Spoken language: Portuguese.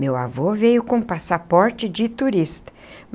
Meu avô veio com passaporte de turista.